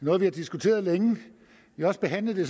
noget vi har diskuteret længe vi har også behandlet det